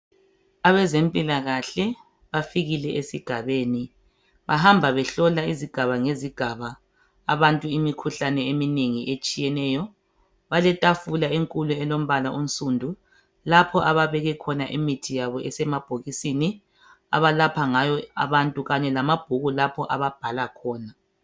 Abazempilakahle bafikile esigabeni bahamba behlola izigaba ngezigaba abantu imikhuhlane etshiyeneyo. Baletafula enkulu ensundu ababek khona imithi abalapha ngayo kanye lamabhuku lapho ababhala khona